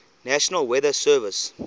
national weather service